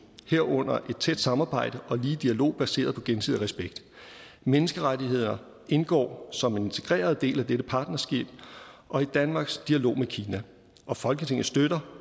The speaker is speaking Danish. herunder et tæt samarbejde og ligeværdig dialog baseret på gensidig respekt menneskerettigheder indgår som integreret del af dette partnerskab og i danmarks dialog med kina og folketinget støtter